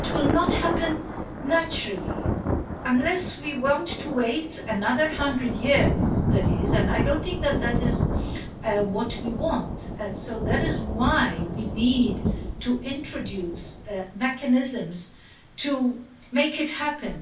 It will not happen naturally, unless we want to wait another hundred years and I don't think that is what we want, and so that is why we need to introduce mechanisms to make it happen.